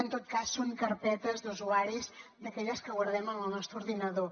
en tot cas són carpetes d’usuaris d’aquelles que guardem en el nostre ordinador